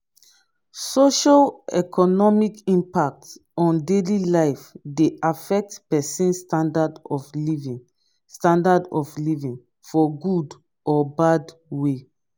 socio-economic impact on daily life de affect persin standard of living standard of living for good or bad way